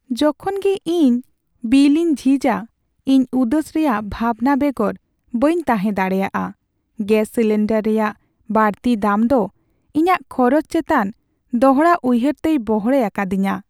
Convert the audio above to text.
ᱡᱚᱠᱷᱚᱱ ᱜᱮ ᱤᱧ ᱵᱤᱞ ᱤᱧ ᱡᱷᱤᱡᱟ, ᱤᱧ ᱩᱫᱟᱹᱥ ᱨᱮᱭᱟᱜ ᱵᱷᱟᱵᱱᱟ ᱵᱮᱜᱚᱨ ᱵᱟᱹᱧ ᱛᱟᱦᱮᱸ ᱫᱟᱲᱮᱭᱟᱜᱼᱟ ᱾ ᱜᱮᱥ ᱥᱤᱞᱤᱱᱰᱟᱨ ᱨᱮᱭᱟᱜ ᱵᱟᱹᱲᱛᱤ ᱫᱟᱢ ᱫᱚ ᱤᱧᱟᱹᱜ ᱠᱷᱚᱨᱚᱪ ᱪᱮᱛᱟᱱ ᱫᱚᱲᱦᱟᱩᱭᱦᱟᱹᱨᱛᱮᱭ ᱵᱚᱲᱦᱮ ᱟᱠᱟᱫᱤᱧᱟᱹ ᱾